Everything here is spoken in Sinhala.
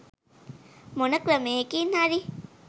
මොන ක්‍රමයකින් හරි